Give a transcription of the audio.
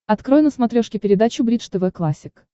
открой на смотрешке передачу бридж тв классик